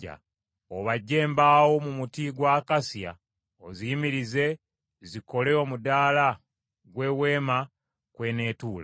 “Obajje embaawo mu muti gwa akasiya oziyimirize zikole omudaala gw’Eweema kweneetuula.